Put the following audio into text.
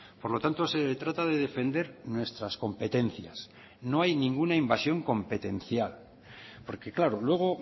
por lo tanto se trata de defender nuestras competencias no hay ninguna invasión competencial porque claro luego